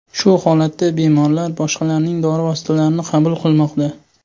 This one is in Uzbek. Shu holatda bemorlar boshqalarning dori vositalarini qabul qilmoqda.